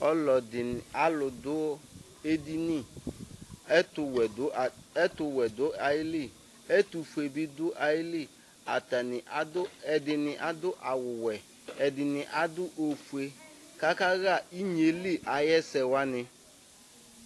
Alʋdu edini ɛtʋwɛ dʋ ayili ɛtʋfue bi dʋ ayili atani ɛdini adʋ awʋwɛ ɛdini adʋ ofʋe kʋ akaxa inyeli ayʋ ɛsɛ wani